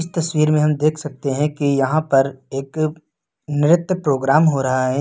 तस्वीर में हम देख सकते है कि यहां पर एक नृत्य प्रोग्राम हो रहा है।